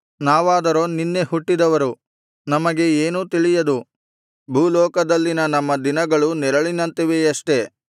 ನಾವಾದರೋ ನಿನ್ನೆ ಹುಟ್ಟಿದವರು ನಮಗೆ ಏನೂ ತಿಳಿಯದು ಭೂಲೋಕದಲ್ಲಿನ ನಮ್ಮ ದಿನಗಳು ನೆರಳಿನಂತಿವೆಯಷ್ಟೆ